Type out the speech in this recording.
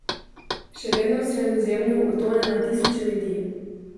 Še vedno v Sredozemlju utone na tisoče ljudi.